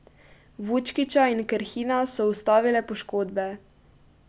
Vučkića in Krhina so ustavile poškodbe.